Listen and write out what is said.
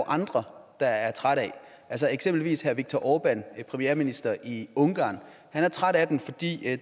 andre der er trætte af eksempelvis viktor orbán premierministeren i ungarn han er træt af den fordi